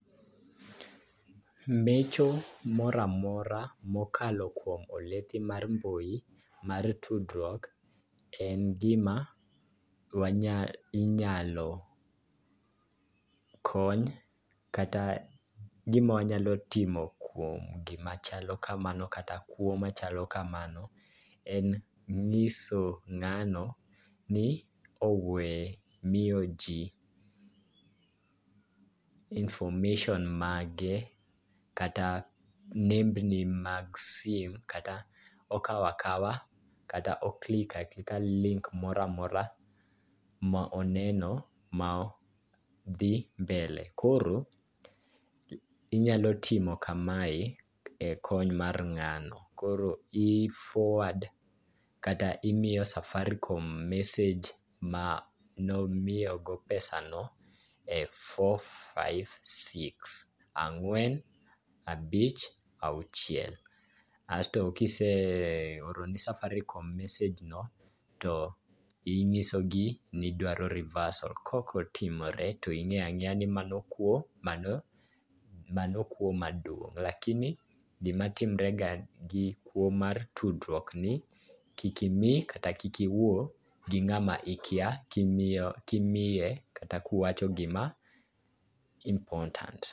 Mecho moramora mokalo kuom oledhi mar mbui mar tudruok en gima wanyalo, inyalo kony, kata gima wanyalo timo kuom gima chalo kamano, kata kwo machalo kamano en nyiso ng'ano ni owe miyo ji information mage kata nembni mag sim, kata okawo akaw, kata o click aklik link moramora ma oneno ma dhi mbele. Koro inyalo timo kamae e kony mar ng'ano. Koro i forward kata imiyo safaricom message ma nomiyo go pesa no e four-five-six, ang'wen-abich-auchiel. Asto kiseoro ne safaricom message no to inyiso gi nidwaro reversal. Kok otimore to ing'eyo ang'eya ni mano kwo, mano kwo maduong'. Lakini gima timre ga gi kwo mar tudruok ni, kik imii kata kik iwuo gi ng'ama ikya ka imiye kata ka uwacho gima important.